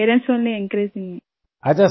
میرے والدین میری ہمت افزائی کرتے ہیں